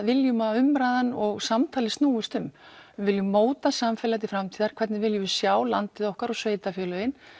viljum að umræðan og samtalið snúist um við viljum móta samfélagið til framtíðar hvernig viljum við sjá landið okkar og sveitarfélögin